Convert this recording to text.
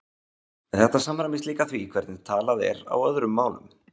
Þetta samræmist líka því hvernig talað er á öðrum málum.